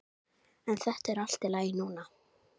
En þetta er allt í lagi núna.